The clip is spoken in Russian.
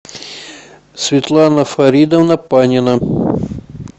светлана фаридовна панина